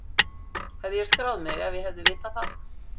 Hefði ég skráð mig ef ég hefði vitað það?